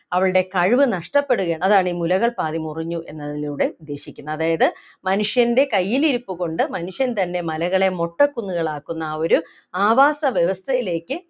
അവളുടെ കഴിവ് നഷ്ടപ്പെടുകയാണ് അതാണ് ഈ മുലകൾ പാതി മുറിഞ്ഞു എന്നതിലൂടെ ഉദ്ദേശിക്കുന്നത് അതായത് മനുഷ്യൻ്റെ കയ്യിൽ ഇരിപ്പുകൊണ്ട് മനുഷ്യൻ തന്നെ മലകളെ മൊട്ടക്കുന്നുകൾ ആക്കുന്ന ആ ഒരു ആവാസ വ്യവസ്ഥയിലേക്ക്